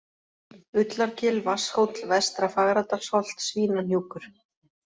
Ullargil, Vatnshóll, Vestra-Fagradalsholt, Svínahnjúkur